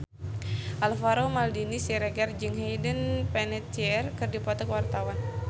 Alvaro Maldini Siregar jeung Hayden Panettiere keur dipoto ku wartawan